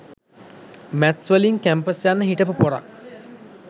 Maths වලින් campus යන්න හිටපු පොරක්.